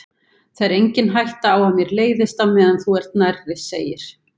Það er engin hætta á að mér leiðist á meðan þú ert nærri, segir